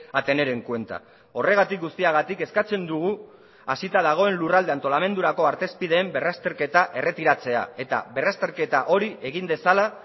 a tener en cuenta horregatik guztiagatik eskatzen dugu hasita dagoen lurralde antolamendurako artezpideen berrazterketa erretiratzea eta berrazterketa hori egin dezala